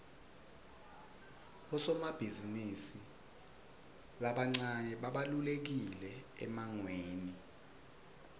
bosomabhizimisi labancane babalulekile emangweni